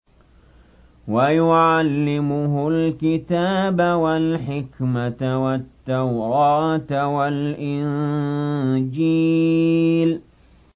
وَيُعَلِّمُهُ الْكِتَابَ وَالْحِكْمَةَ وَالتَّوْرَاةَ وَالْإِنجِيلَ